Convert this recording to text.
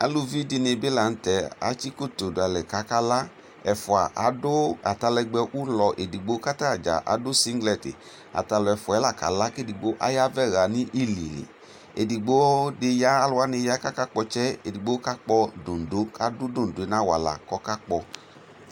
Aluvi dɩnɩbɩ lanʋtɛ atsi koto dʋalɛ kʋ akala ɛfʋa adʋ atalɛgbɛ ʋlɔ edigbo kʋ atadza adʋ siglɛti ɛfʋa yɛ ko la kala kʋ edigbo avɛ dʋ ululi edigbo dɩ ya alu wanɩ kʋ akakpɔ ɔtsɛ edigbo adʋ doŋdoŋ nʋ awala kʋ akakpɔ